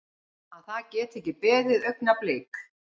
Að það geti ekki beðið augnablik.